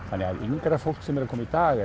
þannig að yngra fólk sem er að koma í dag